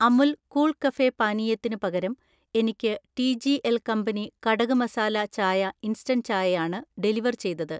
Amul cool cafe പാനീയത്തിന് പകരം എനിക്ക് ടിജിഎൽ കമ്പനി കടക് മസാല ചായ ഇൻസ്റ്റന്റ് ചായ ആണ് ഡെലിവർ ചെയ്തത്.